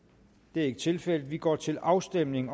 det er ikke tilfældet vi går til afstemning